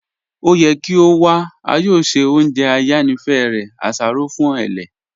O yẹ kí o wà, a yọọ ṣẹ ọ̀njẹ ayànífẹ̀ rẹ; àṣárọ̀ fún ẹlẹ̀.